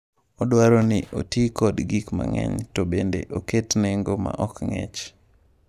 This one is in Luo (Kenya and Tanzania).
Odwaro ni oti kod gik mang’eny to bende oket nengo ma ok ng’ich.